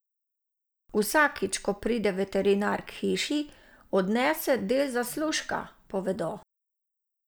Vsakič, ko pride veterinar k hiši, odnese del zaslužka, povedo.